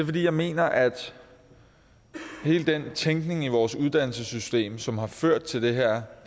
fordi jeg mener at hele den tænkning i vores uddannelsessystem som har ført til den her